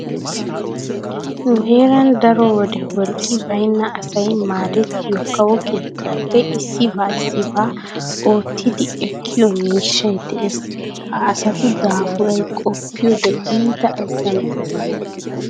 Nu heeran daro wode wolqqi baynna asay maadettiyo kawo keettaappe issibaa issibaa oottidi ekkiyo miishshay dees. Ha asatu daafuray qoppiyode iita azzanttees.